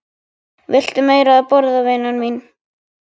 Viltu meira að borða, vina mín